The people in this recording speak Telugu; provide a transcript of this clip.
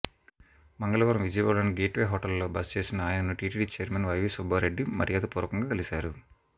మంగళవారం విజయవాడలోని గేట్ వే హోటల్ లో బస చేసిన ఆయనను టీటీడీ చైర్మన్ వైవీ సుబ్బారెడ్డి మర్యాదపూర్వకంగా కలిశారు